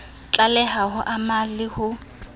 tlaleho ho ama le ho